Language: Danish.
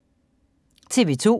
TV 2